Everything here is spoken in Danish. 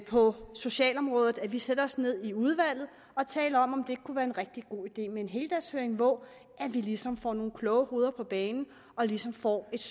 på socialområdet at vi sætter os ned i udvalget og taler om om det ikke kunne være en rigtig god idé med en heldagshøring hvor vi ligesom får nogle kloge hoveder på banen og ligesom får et